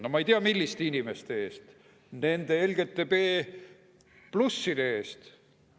No ma ei tea, milliste inimeste eest, kas nende LGBT+‑ide eest.